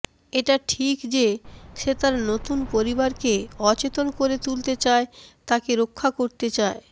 এটা ঠিক যে সে তার নতুন পরিবারকে অচেতন করে তুলতে চায় তাকে রক্ষা করতে চায়